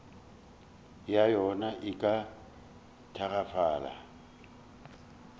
ya yona e ka tagafala